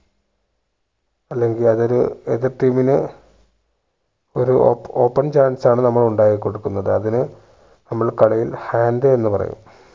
അല്ലെങ്കിൽ അത് ഒരു എതിർ team ന് ഒരു ഓപ് open chance ആണ് നമ്മൾ ഉണ്ടാക്കി കൊടുക്കുന്നത് അതിന് നമ്മൾ കളിയിൽ hand എന്ന് പറയും